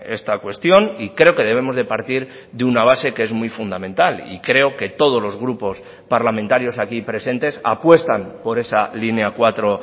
esta cuestión y creo que debemos de partir de una base que es muy fundamental y creo que todos los grupos parlamentarios aquí presentes apuestan por esa línea cuatro